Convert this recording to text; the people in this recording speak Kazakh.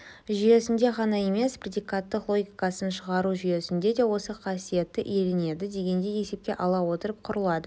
жүйесінде ғана емес предикаттар логикасын шығару жүйесінде де осы қасиетті иеленеді дегенді есепке ала отырып құрылады